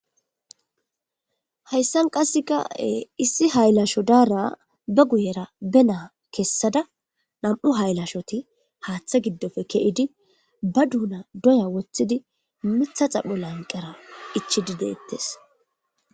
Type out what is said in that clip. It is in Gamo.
Hayssan qassekae issi haylasho daara ba guyera be naa kessada nam7u haylashoti haaththe giddofe ke7idi ba duuna doya woththidi mitha xapho lanqera ichidi deettes.